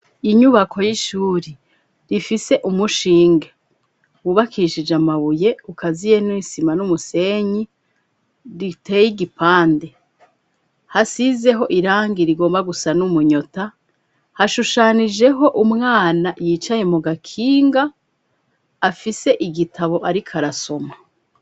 Inyubako y'ishuri rifise umushinge wubakishije amabuye ukaziye n'isima n'umusenyi riteye i gipande hasizeho irangi rigomba gusa n'umunyota hashushanijeho umwana yicaye mu gakinga afise igitabo, ariko arasoma.